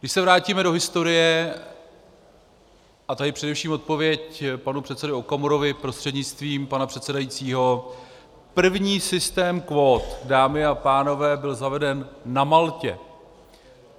Když se vrátíme do historie, a tady především odpověď panu předsedovi Okamurovi prostřednictvím pana předsedajícího, první systém kvót, dámy a pánové, byl zaveden na Maltě.